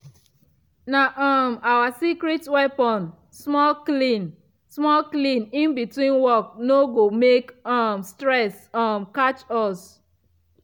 na um our secret weapon - small clean -small clean in between work no go make um stress um catch us.